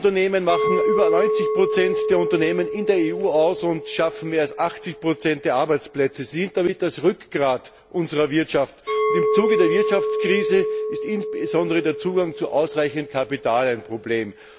Kleine und mittlere Unternehmen machen über 90 der Unternehmen in der EU aus und schaffen mehr als 80 der Arbeitsplätze. Sie sind damit das Rückgrat unserer Wirtschaft, und im Zuge der Wirtschaftskrise ist insbesondere der Zugang zu ausreichend Kapital ein Problem.